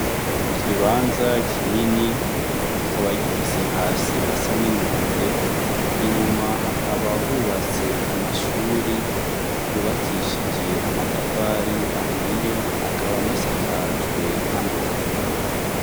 Ikibanza kinini kikaba gifise hasi hasa ninombe inyuma hakaba hubatse amashuri yubakishije amatafari ahiye akaba anasakajwe n'amategura.